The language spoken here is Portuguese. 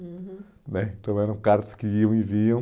uhum, né, então eram cartas que iam e iam.